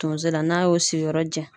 Tonso la ,n'a y'o sigiyɔrɔ jɛn